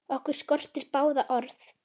Okkur skortir báða orð.